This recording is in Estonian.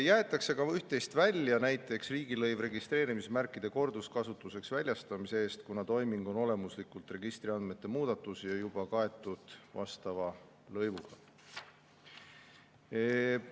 Jäetakse ka üht-teist välja, näiteks riigilõiv registreerimismärkide korduskasutuseks väljastamise eest, kuna toiming on olemuslikult registriandmete muudatus ja juba kaetud vastava lõivuga.